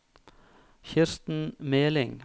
Kirsten Meling